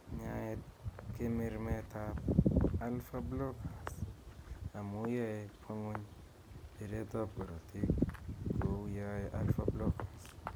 nyai kemirmetab ab Alpha Beta Blockers amu yae kwangony biret ab korotik kou ye ae alpha blockesr